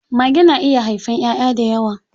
Mage na iya haifan ƴaʼƴa dayawa.